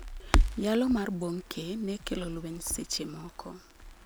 Yalo mar Bonnke ne kelo lweny seche moko.